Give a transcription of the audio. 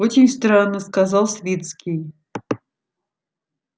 очень странно сказал свицкий